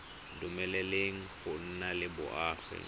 dumeleleng go nna le boagi